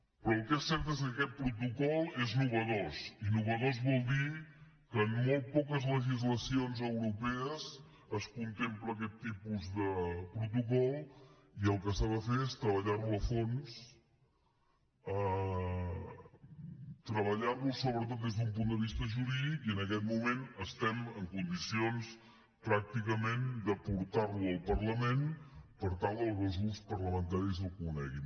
però el que és cert és que aquest protocol és innovador i innovador vol dir que en molt poques legislacions europees es contempla aquest tipus de protocol i el que s’ha de fer és treballarlo a fons treballarlo sobretot des d’un punt de vista jurídic i en aquest moment estem en condicions pràcticament de portarlo al parlament per tal que els grups parlamentaris el coneguin